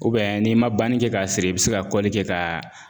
n'i ma bani kɛ k'a siri i bi se ka kɔli kɛ k'a